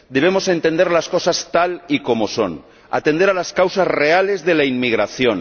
Debemos entender las cosas tal y como son, atender a las causas reales de la inmigración.